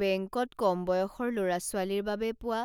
বেংকত কম বয়সৰ ল'ৰা ছোৱালীৰ বাবে পোৱা